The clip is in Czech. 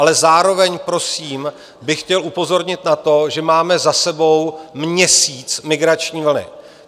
Ale zároveň prosím bych chtěl upozornit na to, že máme za sebou měsíc migrační vlny.